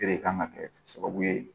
O de kan ka kɛ sababu ye